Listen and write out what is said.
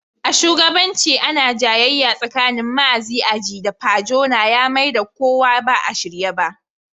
A shugabancin ana jayayya tsakanin Maazi Aji da Pa Jona ya Mai da kuwa ba a shirye ba.